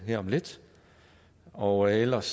her om lidt og ellers